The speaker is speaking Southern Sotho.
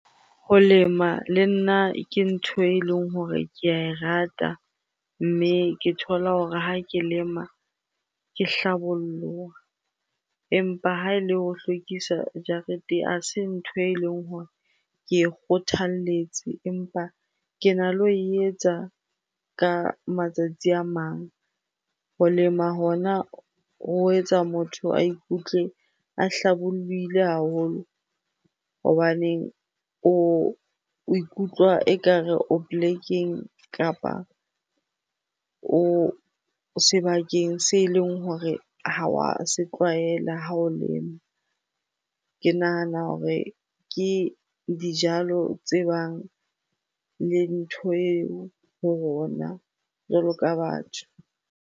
Ho lema le nna ke ntho eleng hore ke a e rata mme ke thola hore ha ke lema ke hlabolloha. Empa ha e le ho hlwekisa jarete ha se ntho eleng hore ke e kgothalletse empa kena le ho e etsa ka matsatsi a mang. Ho lema hona ho etsa motho a ikutlwe a hlabollohile haholo hobaneng o ikutlwa ekare o polekeng kapa o sebakeng se eleng hore ha wa se tlwaela ha o lema. Ke nahana hore ke dijalo tse bang le ntho eo ho rona jwalo ka batho.